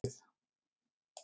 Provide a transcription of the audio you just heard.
Sólarhringarnir snerust við.